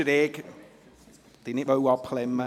Ich wollte Ihnen nicht das Wort abschneiden.